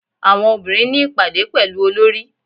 Àwọn obìnrin ní ìpàdé pẹ̀lú Olorì.